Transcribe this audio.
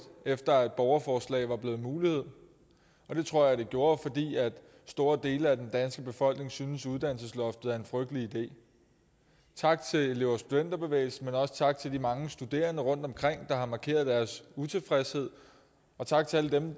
efter at borgerforslag var blevet en mulighed og det tror jeg det gjorde fordi store dele af den danske befolkning synes at uddannelsesloftet er en frygtelig idé tak til elev og studenterbevægelsen men også tak til de mange studerende rundtomkring der har markeret deres utilfredshed og tak til alle dem